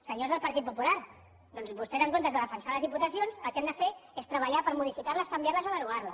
senyors del partit popular doncs vostès en comptes de defensar les diputacions el que han de fer és treballar per modificar les canviar les o derogar les